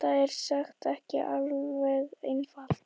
Þetta er sem sagt ekki alveg einfalt.